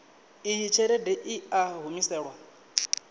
iyi tshelede i a humiselwa